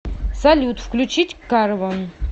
салют включить карвон